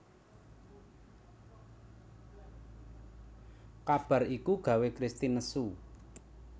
Kabar iku gawé Kristin nesu